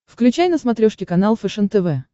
включай на смотрешке канал фэшен тв